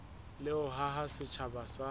le ho haha setjhaba sa